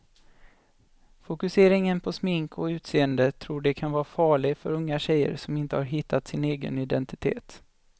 Fokuseringen på smink och utseende tror de kan vara farlig för unga tjejer som inte har hittat sin egen identitet.